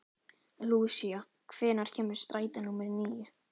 Lúsía, hvenær kemur strætó númer níu?